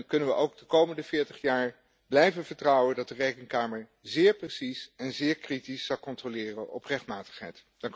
En kunnen we er ook de komende 40 jaar op blijven vertrouwen dat de Rekenkamer zeer precies en zeer kritisch zal controleren op rechtmatigheid?